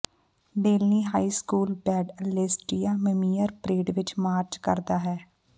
Delaney high school band ਅਲੇਸਟੀਆ ਮਮੀਮਰ parade ਵਿਚ ਮਾਰਚ ਕਰਦਾ ਹੈ